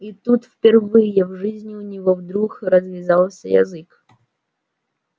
и тут впервые в жизни у него вдруг развязался язык